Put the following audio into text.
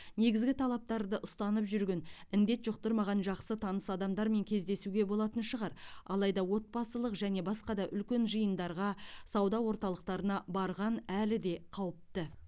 негізгі талаптарды ұстанып жүрген індет жұқтырмаған жақсы таныс адамдармен кездесуге болатын шығар алайда отбасылық және басқа да үлкен жиындарға сауда орталықтарына барған әлі де қауіпті